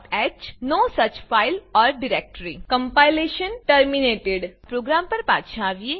stingh નો such file or directory compilation terminated program પર પાછા આવીએ